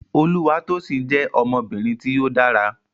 Olúwatósìn jẹ́ ọmọbìnrin tí ó dára